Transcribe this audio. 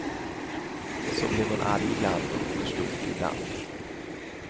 Så blev hon arg ibland, och förstod ibland.